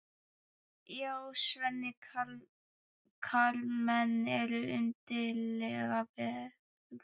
Já, Svenni, karlmenn eru undarlegar verur.